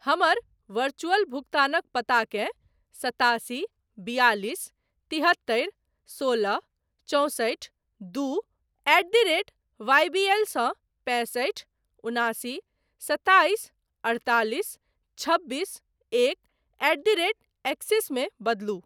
हमर वरचुअल भुगतानक पताकेँ सतासी बियालीस तिहत्तरि सोलह चौंसठि दू एट द रेट वाईबीएल सँ पैंसठि उनासी सताइस अड़तालिस छबीस एक एट द रेट एक्सिस मे बदलू।